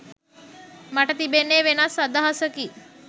මට තිබෙන්නේ වෙනස් අදහසකි